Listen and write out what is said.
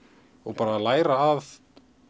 læra að